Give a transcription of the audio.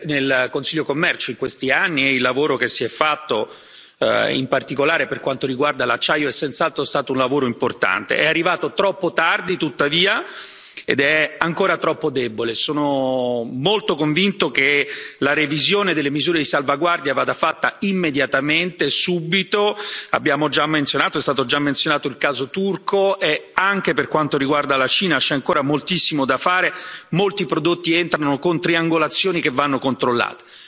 Signor Presidente, signora Commissaria, onorevoli colleghi, io sono stato nel Consiglio Commercio in questi anni e il lavoro che si è fatto, in particolare per quanto riguarda l'acciaio, è senz'altro stato un lavoro importante. È arrivato troppo tardi, tuttavia, ed è ancora troppo debole. Sono molto convinto che la revisione delle misure di salvaguardia vada fatta immediatamente, subito. Abbiamo già menzionato il caso turco e, anche per quanto riguarda la Cina, c'è ancora moltissimo da fare, molti prodotti entrano con triangolazioni che vanno controllate.